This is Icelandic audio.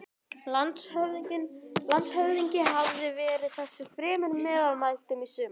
Landshöfðingi hafði verið þessu fremur meðmæltur í sumar.